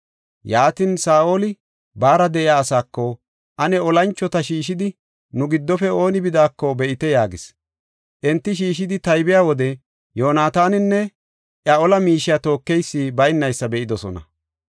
Yaatin, Saa7oli baara de7iya asaako, “Ane olanchota shiishidi nu giddofe ooni bidaako be7ite” yaagis. Enti shiishidi taybiya wode Yoonataaninne iya ola miishiya tookeysi baynaysa be7idosona.